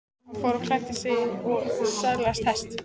Hann fór og klæddi sig og söðlaði hest.